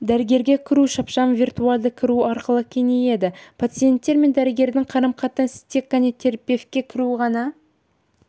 дәрігерге кіру шапшаң виртуалды кіру арқылы кеңейеді пациенттер мен дәрігерлердің қарым-қатынастары тек қана терапевтке кіру ғана